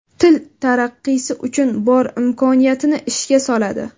Til taraqqiysi uchun bor imkoniyatini ishga soladi.